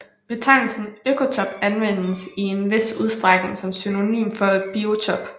Betegnelsen økotop anvendes i en vis udstrækning som synonym for biotop